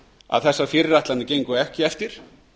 að þessar fyrirætlanir gengu ekki eftir